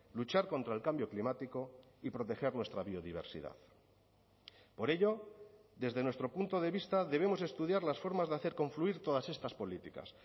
luchar contra el cambio climático y proteger nuestra biodiversidad por ello desde nuestro punto de vista debemos estudiar las formas de hacer confluir todas estas políticas